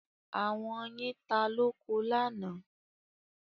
Àwọn yin ta lóko lánàá.